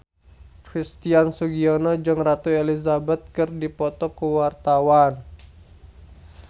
Christian Sugiono jeung Ratu Elizabeth keur dipoto ku wartawan